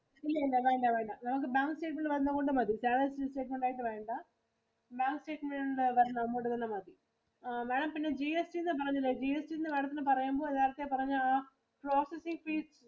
ഇല്ല ഇല്ല വേണ്ട വേണ്ട നമുക്ക് bank statement ഇൽ വരുന്ന amount മതി. Salary statement വേണ്ട. Bank statement കൊണ്ട് വന്നാ മതി ആ Madam പിന്നെ GST എന്ന് പറഞ്ഞതെ GST എന്ന് Madam ത്തിനു പറയുമ്പോ നേരത്തെ പറഞ്ഞ ആ property fees